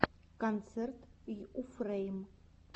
концерт йуфрэйм